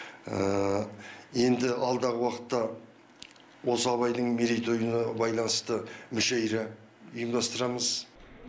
енді алдағы уақытта осы абайдың мерейтойына байланысты мүшайра ұйымдастырамыз